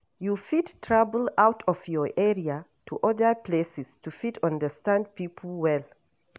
You fit travel out of your area to oda places to fit understand pipo well